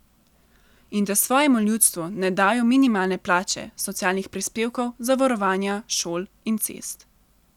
In da svojemu ljudstvu ne dajo minimalne plače, socialnih prispevkov, zavarovanja, šol in cest.